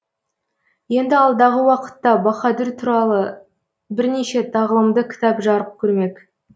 енді алдағы уақытта баһадүр туралы бірнеше тағылымды кітап жарық көрмек